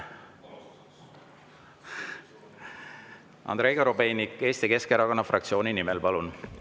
Andrei Korobeinik, Eesti Keskerakonna fraktsiooni nimel, palun!